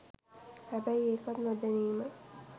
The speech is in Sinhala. හැබැයි ඒකත් නොදැනීම